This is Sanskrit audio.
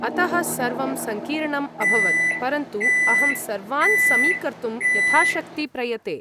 अतः सर्वं सङ्कीर्णम् अभवत्, परन्तु अहं सर्वान् समीकर्तुं यथाशक्ति प्रयते।